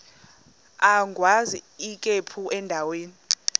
agwaz ikhephu endaweni